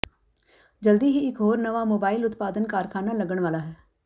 ਜਲਦੀ ਹੀ ਇਕ ਹੋਰ ਨਵਾਂ ਮੋਬਾਈਲ ਉਤਪਾਦਨ ਕਾਰਖਾਨਾ ਲੱਗਣ ਵਾਲਾ ਹੈ